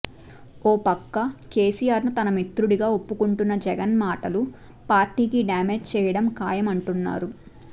ఓపక్క కేసీఆర్ ను తన మిత్రుడిగా ఒప్పుకుంటున్న జగన్ మాటలు పార్టీకి డ్యామేజ్ చేయటం ఖాయమంటున్నారు